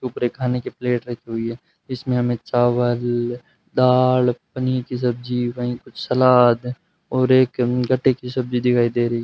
ऊपर ये खाने के प्लेट रखी हुई है इसमें हमें चावल दाल पनीर की सब्जी वहीं कुछ सलाद और एक गट्टे की सब्जी दिखाई दे रही है।